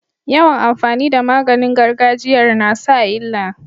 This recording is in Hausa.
Yawan amfani da maganin gargajiyar nasa illa